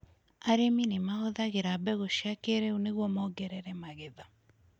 Arĩmi nĩ mahũthagĩra mbegũ cia kĩĩrĩu nĩguo mongerere magetha.